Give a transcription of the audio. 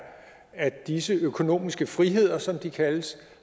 at disse økonomiske friheder som de kaldes